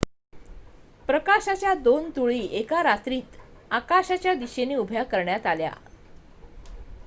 प्रकाशाच्या दोन तुळई एका रात्रीत आकाशाच्या दिशेने उभ्या करण्यात आल्या